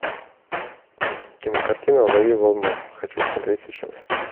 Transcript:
кинокартина лови волну хочу смотреть сейчас